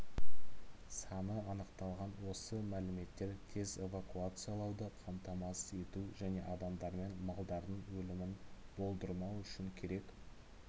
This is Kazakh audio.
саны анықталған осы мәліметтер тез эвакуациялауды қамтамасыз ету және адамдармен малдардың өлімін болдырмау үшін керек